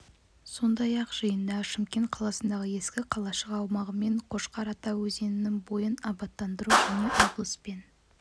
сондай-ақ жиында шымкент қаласындағы ескі қалашық аумағы мен қошқар ата өзенінің бойын абаттандыру және облыс пен